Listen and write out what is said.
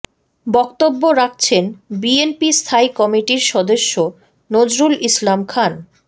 বক্তব্য রাখছেন বিএনপি স্থায়ী কমিটির সদস্য নজরুল ইসলাম খান